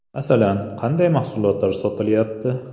- Masalan, qanday mahsulotlar sotilayapti?